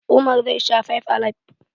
Umar zai sha fybe alib.